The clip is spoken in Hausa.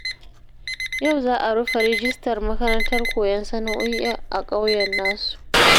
Yau za a rufe rajistar makarantar koyon sana'o'i a ƙauyen nasu